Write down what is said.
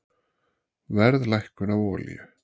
Verðlækkun á olíu